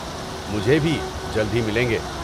مجھے بھی، جلد ہی ملیں گے!